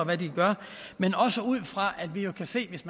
gør men også ud fra at vi jo kan se hvis